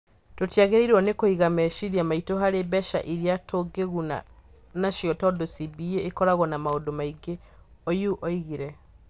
Tũtiagĩrĩirwo nĩ kũiga meciria maitũ harĩ mbeca iria tũngĩĩguna nacio tondũ CBA ĩkoragwo na maũndũ maingĩ", Oyuu oigire.